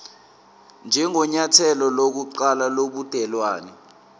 njengenyathelo lokuqala lobudelwane